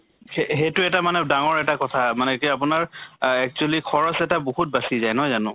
সে সেইটো এটা মানে ডাঙৰ এটা কথা মানে এতিয়া আপোনাৰ আহ actually খৰচ টো এটা বহুত বাছি যায়, নহয় জানো?